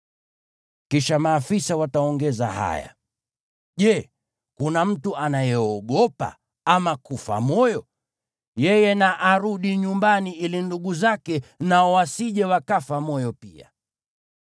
Kisha maafisa wataongeza haya, “Je, kuna mtu anayeogopa ama kufa moyo? Yeye na arudi nyumbani ili ndugu zake nao wasije wakafa moyo pia.”